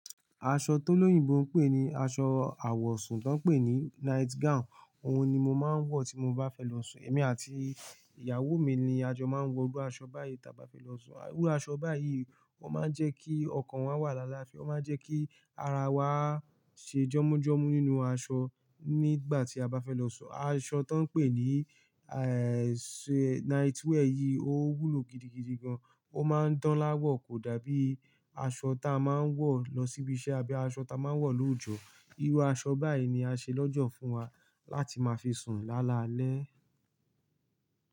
Aṣọ tó lóyìnbó ń pè ní aṣọ àwọ̀sùn tó ń pè ní night gown òun ni mo máa ń wọ̀ tí mo bá fẹ́ lọ sùn. Ẹ̀mí àti ìyàwó mi ni a jọ máa ń wọ irú aṣọ báyìí tí a bá fẹ́ lọ sùn. Irú aṣọ báyìí ó máa ń jẹ́ kí ọkàn wa wà lála àfi ó máa ń jẹ́ kí ara wa ṣe jọ́mujọ́mu nínú aṣọ nígbà tí a bá fẹ́ lọ sùn. Aṣọ tó ń pè ní, night wear yìí ó wúlò gidigidi gan. Ó máa ń dán láwọ̀ kò dàbí aṣọ táa máa ń wọ̀ lọ síbi iṣẹ́ àbí aṣọ táa máa ń wọ̀ lóojo. Irú aṣọ báyìí ni a ṣe lọ́jọ́ fún wa láti máa fi sùn láalalẹ́.